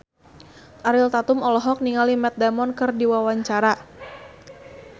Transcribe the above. Ariel Tatum olohok ningali Matt Damon keur diwawancara